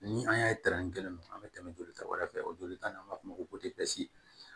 Ni an y'a ye tɛrɛ kelen ninnu an be tɛmɛ joli ta wɛrɛ fɛ o joli ta n'an b'a f'o ma ko pese